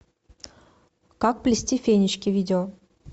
как плести фенечки видео